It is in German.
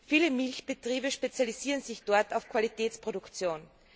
Viele Milchbetriebe spezialisieren sich dort auf Qualitätsproduktion.